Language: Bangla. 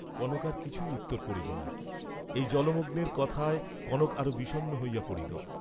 কনক আর কিছুই উত্তর করিল না, এই জলমগ্নের কথায় কনক আরো বিষণ্ণ হইয়া পড়িল।